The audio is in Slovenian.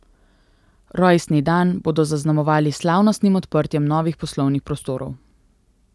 Rojstni dan bodo zaznamovali s slavnostnim odprtjem novih poslovnih prostorov.